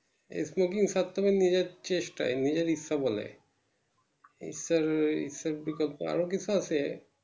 ছাড়তে হবে নিজের চেষ্টাই নিজের ইচ্ছা বলে ঈশ্বর ঈশ্বর কি কথা আরো কিছু আছে